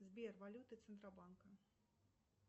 сбер валюта центробанка